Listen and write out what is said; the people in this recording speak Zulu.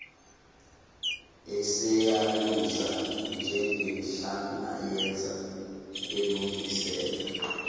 eseyaluza njengenhlalayenza elungisela